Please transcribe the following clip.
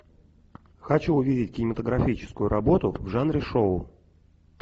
хочу увидеть кинематографическую работу в жанре шоу